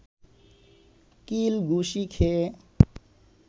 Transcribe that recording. কিল ঘুসি খেয়ে